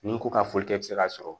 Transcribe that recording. Ni ko ka foli kɛ i bi se k'a sɔrɔ